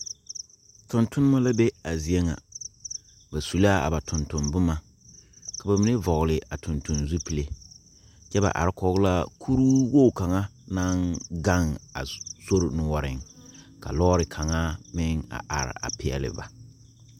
Tungtumba la be a zeɛ nga ba su la a ba tuntunbuma ka ba mene vɔgli a tuntun zupile kye ba arẽ kɔg la kuroo wogi kang nang gang a sori noɔring ka loɔri kanga meng a arẽ a peɛli ba.